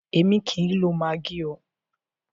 Èmi o kìí ń lo maggi oo.